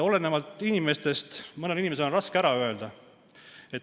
Olenevalt inimesest on mõnel inimesel raske ära öelda.